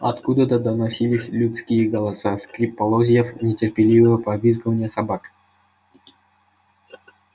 откуда-то доносились людские голоса скрип полозьев нетерпеливо повизгивание собак